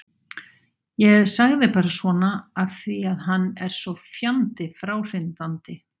Ég sagði bara svona af því að hann er svo fjandi fráhrindandi.